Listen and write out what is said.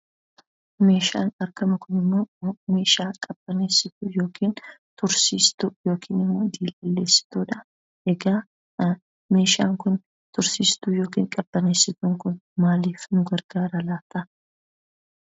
Meeshaan arginu kunimmoo meeshaa qabbaneessituu yookiin immoo tursiistuu yookiin diilalleessituudha. Egaa meeshaan kun tursiistuu yookiin qabbaneessituun kun maaliif nu gargaara laata?